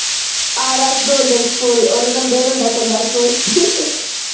R S golden school, ਓਹਨੂ ਕਹਿੰਦੇ ਰਦਾ ਸੰਡਾ ਸਕੂਲ